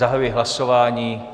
Zahajuji hlasování.